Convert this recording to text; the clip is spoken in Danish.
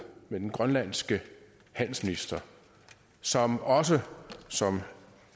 med den grønlandske handelsminister som også som